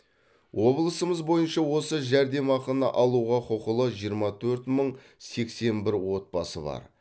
облысымыз бойынша осы жәрдемақыны алуға құқылы жиырма төрт мың сексен бір отбасы бар